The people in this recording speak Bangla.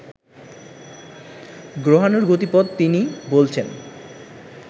গ্রহাণুর গতিপথ তিনি বলছেন